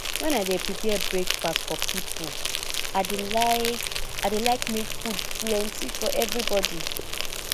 wen i dey prepare breakfast for pipo i dey like i dey like make food plenty for everybody